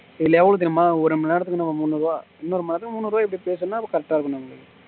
இதுல எவ்வளவு தெரியுமா ஒரு மணி நேரத்திர்ற்கு முன்னுருவா இன்னும் ஒரு மணிநேரத்துக்கு முன்னுருவா இப்படி பேசுனா correct ஆ இருக்கும்னு நினைக்கறேன்